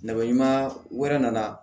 Nɛgɛ ɲuman wɛrɛ nana